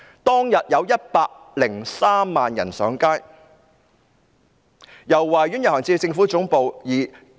當天有103萬人上街，由維多利亞公園遊行至政府總部。